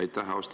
Aitäh!